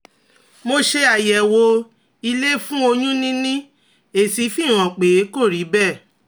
Mo ṣe àyẹ̀wò ilé fún oyún níní, èsì fi hàn pé kò rí bẹ́ẹ̀